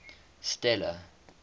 stella